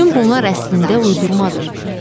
Bütün bunlar əslində uydurmadır.